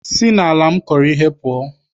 Si n'ala m kọrọ ihe pụọ!